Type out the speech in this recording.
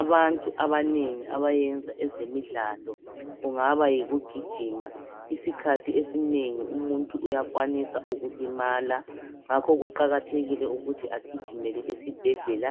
Abantu abanengi abayenza ezemidlalo kungaba yikuugijima Isikhathi esinengi umuntu uyakwanisa ukulimala ngakho kuqakathekile ukuthi agijimele esibhedlela